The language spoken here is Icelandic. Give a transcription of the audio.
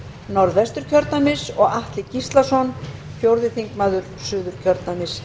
norðvesturkjördæmis og atli gíslason fjórði þingmaður suðurkjördæmis